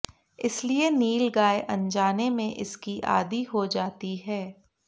इसीलिए नीलगाय अनजाने में इसकी आदी हो जाती है